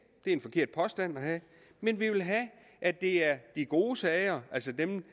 det er en forkert påstand men vi vil have at det er de gode sager altså dem